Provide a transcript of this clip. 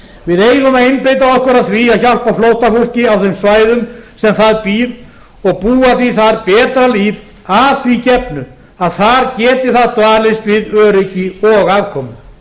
við eigum að einbeita okkur að því að hjálpa flóttafólki á þeim svæðum sem það býr og búa því þar betra líf að því gefnu að þar geti það dvalist við öryggi og afkomu